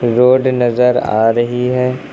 Road नजर आ रही है।